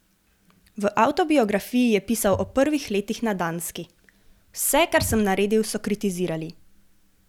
V avtobiografiji je pisal o prvih letih na Danski: 'Vse, kar sem naredil, so kritizirali.